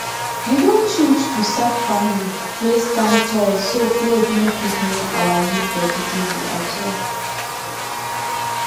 we don change to sack farming wey stand tall so flood no fit near our leaf vegetable at all